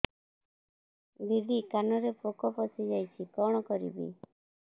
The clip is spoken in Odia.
ଦିଦି କାନରେ ପୋକ ପଶିଯାଇଛି କଣ କରିଵି